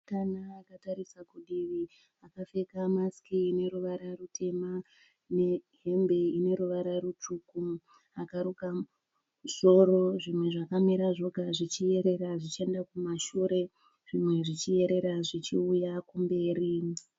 Musikana akatarisa kudivi akapfeka masiki ine ruvara rutema nehembe ine ruvara rutsvuku akaruka musoro zvimwe zvakamira zvoga zvichiyerera zvichienda kumashure zvimwe zvichiyerera zvichiuya kumberi.